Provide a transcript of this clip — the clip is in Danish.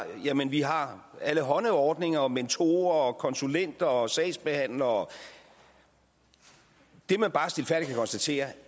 jamen vi har alle hånde ordninger mentorer og konsulenter og sagsbehandlere det man bare stilfærdigt kan konstatere er